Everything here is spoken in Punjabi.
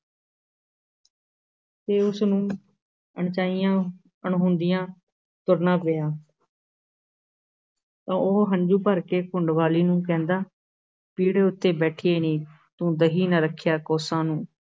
ਤੇ ਉਸ ਨੂੰ ਅਣਚਾਹੀਆਂ ਅਣਹੋਂਦੀਆਂ ਤੁਰਨਾ ਪਿਆ ਤਾਂ ਉਹ ਹੰਝੂ ਭਰ ਕੇ ਘੁੰਡ ਵਾਲੀ ਨੂੰ ਕਹਿੰਦਾ ਹੈ, ਪੀੜੇ ਉੱਤੇ ਬੈਠੀਏ ਨੀ, ਤੂੰ ਦਹੀਂ ਨਾ ਰੱਖਿਆ ਕੋਸਾਂ ਨੂੰ।